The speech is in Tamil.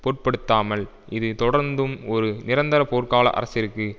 பொருட்படுத்தாமல் இது தொடர்ந்தும் ஒரு நிரந்தர போர்க்கால அரசிற்கு